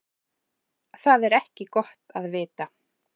Það er ekki gott að vita.